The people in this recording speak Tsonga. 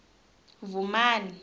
vhumani